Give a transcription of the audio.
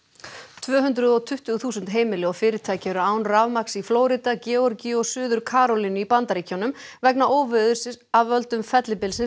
tvö hundruð og tuttugu þúsund heimili og fyrirtæki eru án rafmagns í Flórída Georgíu og Suður Karólínu í Bandaríkjunum vegna óveðurs af völdum fellibylsins